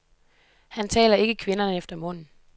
Han taler ikke kvinderne efter munden.